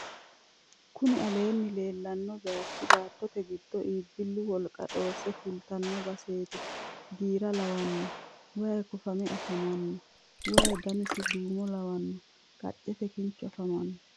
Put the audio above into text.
Kuni aleenni leellanno baychi baattote giddonni iibbillu wolqa dhoosse fultino baseeti. giira lawanno wayi kofame afamanno. wayi danasi duumo lawanno. qaccete kinchu afamanno.